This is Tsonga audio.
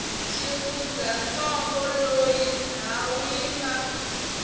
xifundzantsongo loyi ndhawu yi nga